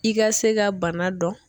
I ga se ka bana dɔn